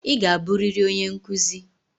Ị ga-abụrịrị onye nkuzi.